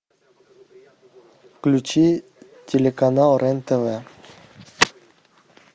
включи телеканал рен тв